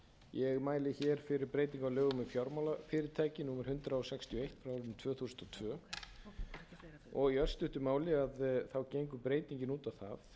ég mæli hér fyrir breytingu á lögum um fjármálafyrirtæki númer hundrað sextíu og eitt tvö þúsund og tvö og í örstuttu máli gengur breytingin út á það